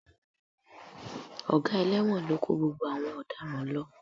Ọ̀gá ẹlẹ́wọ̀n ló kó gbogbo àwọn ọ̀daràn lọ